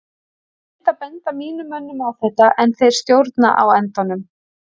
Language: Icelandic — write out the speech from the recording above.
Ég reyni að benda mínum mönnum á þetta en þeir stjórna á endanum.